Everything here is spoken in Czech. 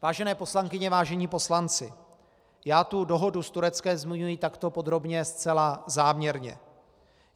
Vážené poslankyně, vážení poslanci, já tu dohodu s Tureckem zmiňuji takto podrobně zcela záměrně.